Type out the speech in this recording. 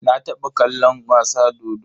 Na taɓa kallon wasa dodo.